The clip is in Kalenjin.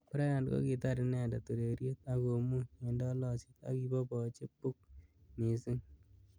Bryant kokitar inendet ureriet ak komuny eng tolosiet akiboboji buk missing.